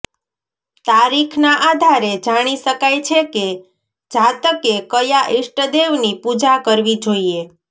તારીખના આધારે જાણી શકાય છે કે જાતકે કયા ઈષ્ટદેવની પૂજા કરવી જોઈએ